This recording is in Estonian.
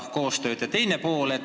Ja küsimuse teine pool.